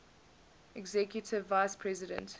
executive vice president